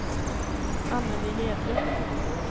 Anneli Hedlund